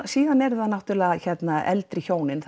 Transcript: síðan eru það eldri hjónin